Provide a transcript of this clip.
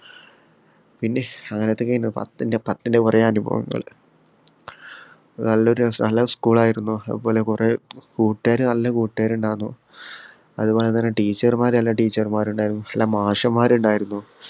പിന്നെ അങ്ങനൊത്തെ കയിഞ്ഞു പത്തിന്റെ പത്തിന്റെ കൊറേ അനുഭവങ്ങൾ ഹും നല്ല ഒരു രസാ നല്ല school ആയിരുന്നു അതുപോലെ കൊറേ കൂട്ടുകാര് നല്ല കൂട്ടുകാരുണ്ടായിരുന്നു അതുപോല തന്നെ teacher മാർ നല്ല teacher മാരുണ്ടായിരുന്നു നല്ല മാഷമ്മാര് ഇണ്ടാർന്നു